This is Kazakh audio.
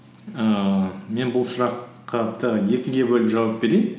ііі мен бұл сұрақ екіге бөліп жауап берейін